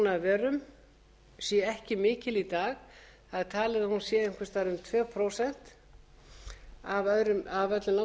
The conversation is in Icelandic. landbúnaðarvörum sé ekki mikil í dag það er talið að hún sé einhvers staðar um tvö prósent af